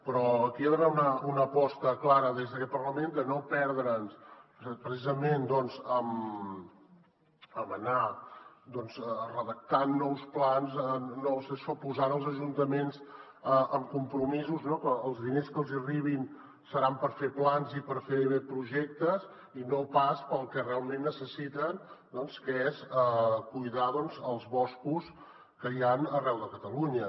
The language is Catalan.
però aquí hi ha d’haver una aposta clara des d’aquest parlament de no perdre’ns precisament en anar redactant nous plans posant els ajuntaments en compromisos que els diners que els hi arribin seran per fer plans i per fer projectes i no pas per al que realment necessiten que és cuidar els boscos que hi han arreu de catalunya